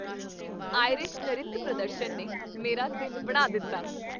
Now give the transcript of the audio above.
Irish ਨਰਿਤ ਪ੍ਰਦਰਸ਼ਨ ਨੇ ਮੇਰਾ ਦਿਨ ਬਣਾ ਦਿੱਤਾ।